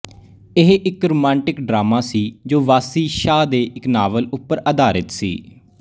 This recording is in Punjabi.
ਇਹ ਇੱਕ ਰੁਮਾਂਟਿਕ ਡਰਾਮਾ ਸੀ ਜੋ ਵਾਸੀ ਸ਼ਾਹ ਦੇ ਇੱਕ ਨਾਵਲ ਉੱਪਰ ਅਧਾਰਿਤ ਸੀ